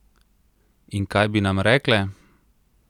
In kaj bi nam rekle?